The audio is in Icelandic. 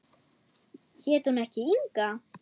Hét hún ekki Inga?